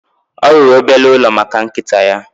Ọ rụrụ obere ụlọ maka nkịta ya